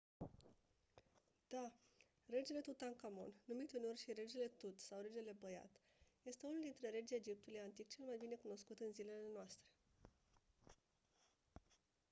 da! regele tutankhamon numit uneori și «regele tut» sau «regele băiat» este unul dintre regii egiptului antic cel mai bine cunoscut în zilele noastre.